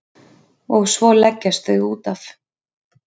Og svo leggjast þau útaf.